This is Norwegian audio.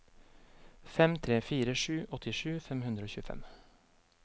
fem tre fire sju åttisju fem hundre og tjuefem